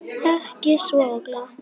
Ekki svo glatt.